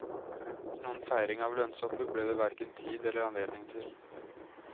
Noen feiring av lønnshoppet ble det hverken tid eller anledning til.